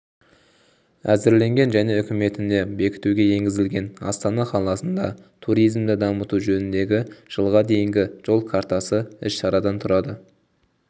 әзірленген және үкіметіне бекітуге енгізілген астана қаласында туризмді дамыту жөніндегі жылға дейінгі жол картасы іс-шарадан тұрады